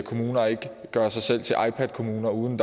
kommuner gør sig selv til ipadkommuner uden